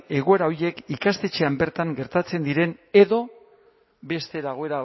egoera horiek ikastetxean bertan gertatzen diren edo beste